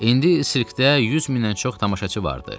İndi sirkdə 100 mindən çox tamaşaçı var idi.